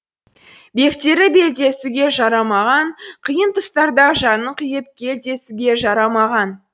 бектері белдесуге жарамаған қиын тұстарда жанын қиып кел десуге жарамаған